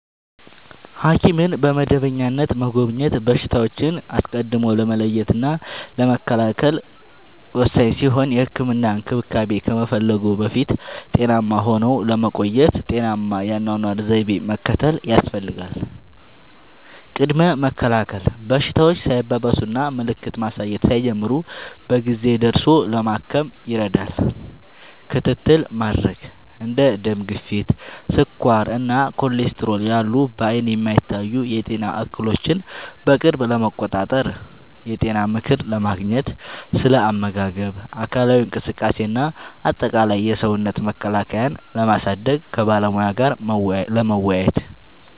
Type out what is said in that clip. ሐኪምን በመደበኛነት መጎብኘት በሽታዎችን አስቀድሞ ለመለየትና ለመከላከል ወሳኝ ሲሆን፥ የህክምና እንክብካቤ ከመፈለግዎ በፊት ጤናማ ሆነው ለመቆየት ጤናማ የአኗኗር ዘይቤን መከተል ያስፈልጋል። ቅድመ መከላከል፦ በሽታዎች ሳይባባሱና ምልክት ማሳየት ሳይጀምሩ በጊዜ ደርሶ ለማከም ይረዳል። ክትትል ለማድረግ፦ እንደ ደም ግፊት፣ ስኳር እና ኮሌስትሮል ያሉ በዓይን የማይታዩ የጤና እክሎችን በቅርብ ለመቆጣጠር። የጤና ምክር ለማግኘት፦ ስለ አመጋገብ፣ አካላዊ እንቅስቃሴ እና አጠቃላይ የሰውነት መከላከያን ስለማሳደግ ከባለሙያ ጋር ለመወያየት።